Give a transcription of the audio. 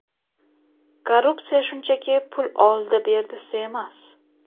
Korrupsiya shunchaki pul oldi-berdisi emas.